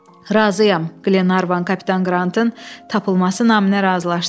Razıyam, Qlenarvan kapitan Qrantın tapılması naminə razılaşdı.